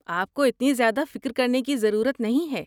آپ کو اتنی زیادہ فکر کرنے کی ضرورت نہیں ہے۔